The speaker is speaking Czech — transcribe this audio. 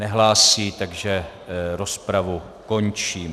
Nehlásí, takže rozpravu končím.